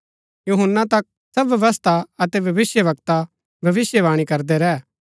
यूहन्‍ना तक सब व्यवस्था अतै भविष्‍यवक्ता भविष्‍यवाणी करदै रैह